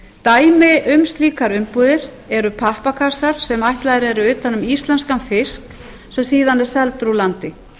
dæmi um slíkar umbúða eru pappakassar sem ætlaðir eru utan um íslenskan fisk sem síðan er seldur úr landi